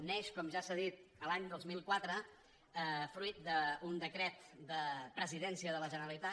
neix com ja s’ha dit l’any dos mil quatre fruit d’un decret de presidència de la generalitat